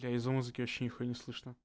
я из-за музыки вообще нихуя не слышно